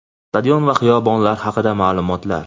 stadion va xiyobonlar haqida ma’lumotlar:.